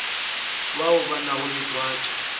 bao ba nago le twatši